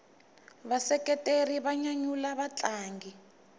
vaseketeri va nyanyula vatlangi